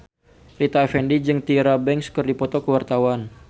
Rita Effendy jeung Tyra Banks keur dipoto ku wartawan